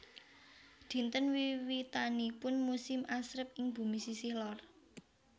Dinten wiwitanipun musim asrep ing bumi sisih lor